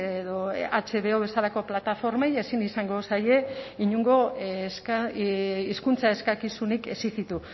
edo hbo bezalako plataformei ezin izango zaie inongo hizkuntza eskakizunik exijitu